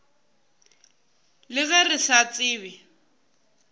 le ge re sa tsebe